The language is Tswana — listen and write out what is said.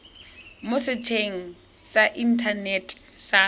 mo setsheng sa inthanete sa